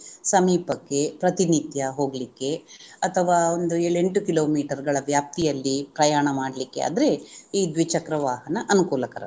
ಸಮೀಪಕ್ಕೆ ಪ್ರತಿನಿತ್ಯ ಹೋಗ್ಲಿಕ್ಕೆ ಅಥವಾ ಒಂದು ಏಳು ಎಂಟು kilometer ಗಳ ವ್ಯಾಪ್ತಿಯಲ್ಲಿ ಪ್ರಯಾಣ ಮಾಡ್ಲಿಕ್ಕೆ ಆದ್ರೆ ಈ ದ್ವಿಚಕ್ರ ವಾಹನ ಅನುಕೂಲಕರ